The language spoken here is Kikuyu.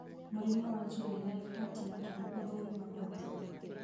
Mũrimũ wa Juvenile Huntington ũthũrimagwo atĩa ?